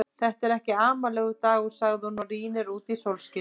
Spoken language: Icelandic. Þetta er ekki amalegur dagur, segir hún og rýnir út í sólskinið.